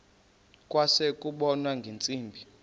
kwase kubonwa ngeentsimbi